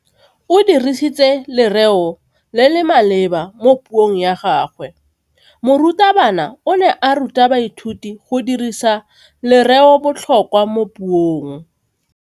O dirisitse lerêo le le maleba mo puông ya gagwe. Morutabana o ne a ruta baithuti go dirisa lêrêôbotlhôkwa mo puong.